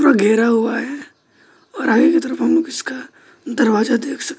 घेरा हुआ है और आगे की तरफ मुंह उसका दरवाजा देख सकते--